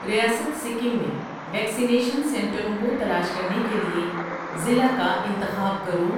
ریاست سکم میں ویکسینیشن سنٹروں کو تلاش کرنے کے لیے ضلع کا انتخاب کرو